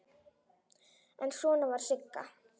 En svona var Sigga.